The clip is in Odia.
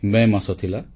ମେ ମାସ ଥିଲା